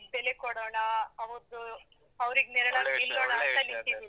ಬೆಲೆ ಕೊಡೋಣಾ, ಅವರ್ದು ಅವರಿಗ್ ನೆರಳಾಗ್ .